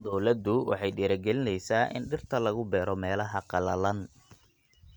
Dawladdu waxay dhiirigelinaysaa in dhirta lagu beero meelaha qallalan.